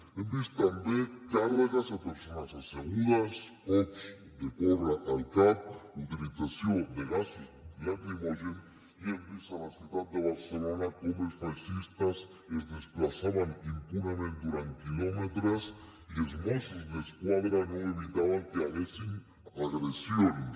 hem vist també càrregues a persones assegudes cops de porra al cap utilització de gasos lacrimògens i hem vist a la ciutat de barcelona com els feixistes es desplaçaven impunement durant quilòmetres i els mossos d’esquadra no evitaven que hi hagués agressions